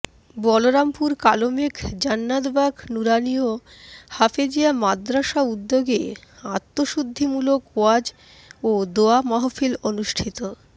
বলরামপুর কালমেঘ জান্নাতবাগ নুরানীয় হাফেজিয়া মাদ্রাসা উদ্যোগে আত্মশুদ্ধি মুলক ওয়াজ ও দোয়া মাহফিল অনুষ্ঠিত